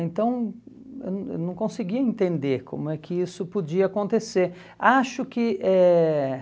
Então, eu não não conseguia entender como é que isso podia acontecer. Acho que eh